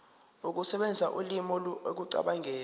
ukusebenzisa ulimi ekucabangeni